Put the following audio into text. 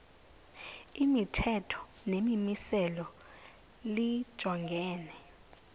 imithetho nemimiselo lijongene